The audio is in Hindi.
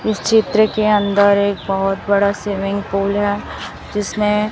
इस चित्र के अंदर एक बहुत बड़ा स्विमिंग पूल है जिसमें--